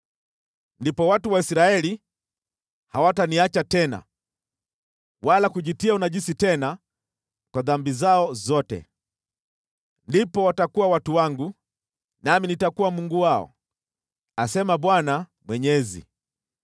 “ ‘Ndipo watu wa Israeli hawataniacha tena, wala kujitia unajisi tena kwa dhambi zao zote. Ndipo watakuwa watu wangu nami nitakuwa Mungu wao, asema Bwana Mwenyezi.’ ”